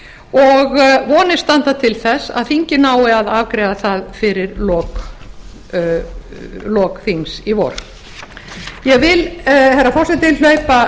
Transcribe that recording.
og vonir standi til þess að þingið nái að afgreiða það fyrir lok þings í vor ég vil herra forseti hlaupa